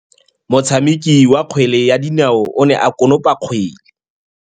Motshameki wa kgwele ya dinaô o ne a konopa kgwele.